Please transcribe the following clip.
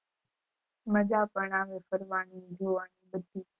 મજા પણ આવે ફરવાની જોવાની બધી